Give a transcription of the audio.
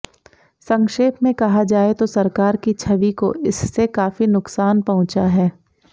संक्षेप में कहा जाए तो सरकार की छवि को इससे काफी नुकसान पहुंचा है